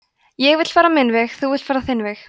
ég vill fara minn veg þú villt fara þinn veg